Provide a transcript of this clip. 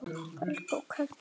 Helga: Hvernig þá?